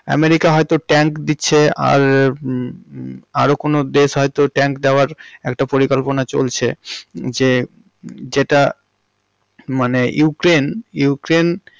America হয়তো tank দিচ্ছে আর হুম আরও কোনও দেশ হয়তো tank দেওয়ার একটা পরিকল্পনা চলছে যে যেটা মানে ইউক্রেইন্~ ইউক্রেইন্।